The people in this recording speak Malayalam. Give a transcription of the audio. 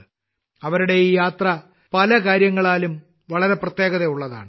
അദ്ദേഹത്തിന്റെ ഈ യാത്ര പല കാര്യങ്ങളാലും വളരെ പ്രത്യേകതയുള്ളതാണ്